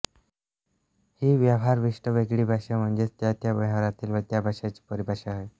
ही व्यवहारविशिष्ट वेगळी भाषा म्हणजेच त्या त्या व्यवहारातील त्या विषयाची परिभाषा होय